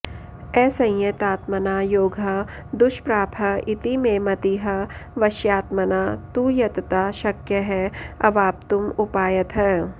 असंयतात्मना योगः दुष्प्रापः इति मे मतिः वश्यात्मना तु यतता शक्यः अवाप्तुम् उपायतः